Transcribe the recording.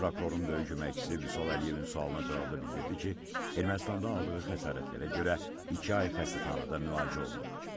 Baş prokurorun böyük köməkçisi Vüsal Əliyevin sualına cavabda bildirdi ki, Ermənistanda aldığı xəsarətlərə görə iki ay xəstəxanada müalicə olunub.